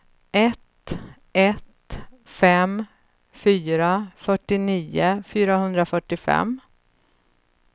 ett ett fem fyra fyrtionio fyrahundrafyrtiofem